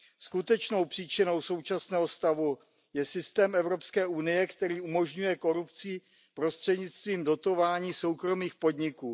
Skutečnou příčinou současného stavu je systém Evropské unie, který umožňuje korupci prostřednictvím dotování soukromých podniků.